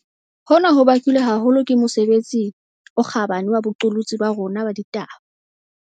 Hona ho bakilwe haholo ke mosebetsi o kgabane wa boqolotsi ba rona ba ditaba.